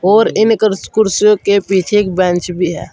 और इनकर कुर्सियों के पीछे एक बेंच भी है।